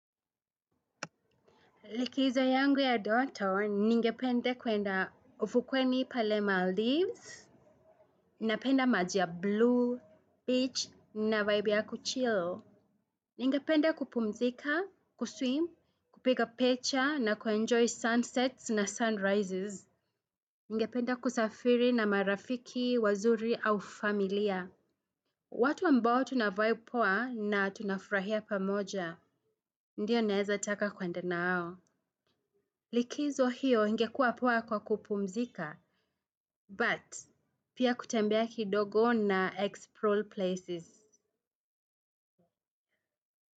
Likizo yangu ya ndoto ningependa kuenda ufukweni pale mahali napenda maji ya bluu beach na vibe ya kuchil. Ningependa kupumzika, kuswim, kupiga picha, na ku enjoy sunsets na sunrises. Ningependa kusafiri na marafiki, wazuri au familia. Watu ambao tunavibe poa na tunafurahia pamoja, ndio naeza taka kwenda nao. Likizo hiyo ingekua poa kwa kupumzika. But, pia kutembea kidogo na explore places.